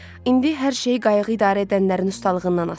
İndi hər şey qayığı idarə edənlərin ustalığından asılı idi.